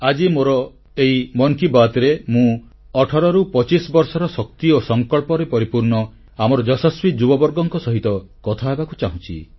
ଆଜି ମୋର ଏହି ମନ୍ କି ବାତ୍ରେ ମୁଁ 18ରୁ 25 ବର୍ଷର ଶକ୍ତି ଓ ସଂକଳ୍ପରେ ପରିପୂର୍ଣ୍ଣ ଆମର ଯଶସ୍ୱୀ ଯୁବବର୍ଗଙ୍କ ସହିତ କଥା ହେବାକୁ ଚାହୁଁଛି